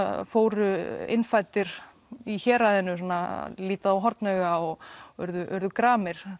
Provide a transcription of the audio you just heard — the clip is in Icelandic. fóru innfæddir í héraðinu að líta þá hornauga og urðu urðu gramir